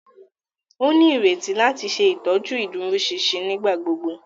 O nireti láti ṣetọju iduroṣinṣin nigbagbogbo.